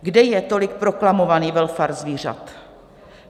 Kde je tolik proklamovaný welfare zvířat?